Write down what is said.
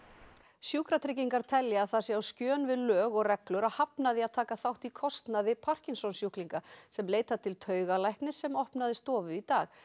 sjúkratryggingar telja að það sé á skjön við lög og reglur að hafna því að taka þátt í kostnaði Parkinsons sjúklinga sem leita til taugalæknis sem opnaði stofu í dag